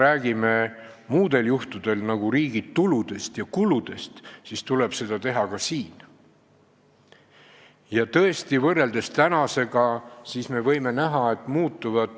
Ja kui me paljudel juhtudel räägime riigi tuludest ja kuludest, siis seda tuleb teha ka selle teema puhul.